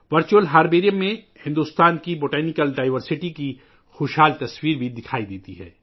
virtual herbarium میں بھارت کے نباتاتی تنوع کی بھرپور تصویر بھی نظر آتی ہے